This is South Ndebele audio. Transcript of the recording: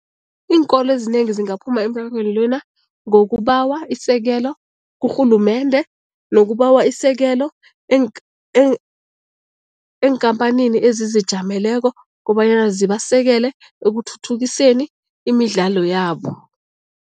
Iinkolo ezinengi zingaphuma lena ngokubawa isekelo kurhulumende nokubawa isekelo eenkhamphanini ezizijameleko kobanyana zibasekele ekuthuthukiseni imidlalo yabo.